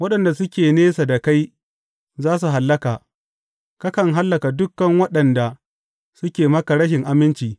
Waɗanda suke nesa da kai za su hallaka; kakan hallaka dukan waɗanda suke maka rashin aminci.